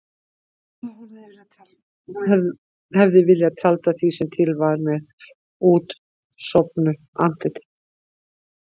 Hún hefði viljað tjalda því sem til var með útsofnu andliti.